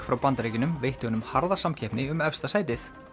frá Bandaríkjunum veitti honum harða samkeppni um efsta sætið